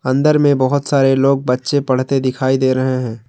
अंदर में बहोत सारे लोग बच्चे पढ़ते दिखाई दे रहे हैं।